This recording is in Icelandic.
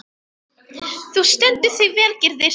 Þú stendur þig vel, Gyrðir!